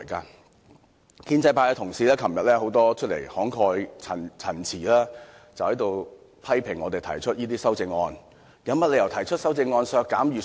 很多建制派同事昨天慷慨陳詞，批評我們提出這些修正案，問我們有甚麼理由提出修正案削減預算呢？